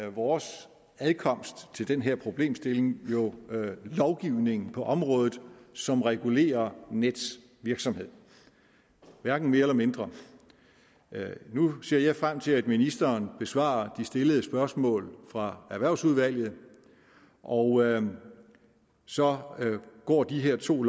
er vores adkomst til den her problemstilling jo lovgivning på området som regulerer nets virksomhed hverken mere eller mindre nu ser jeg frem til at ministeren besvarer de stillede spørgsmål fra erhvervsudvalget og så går de her to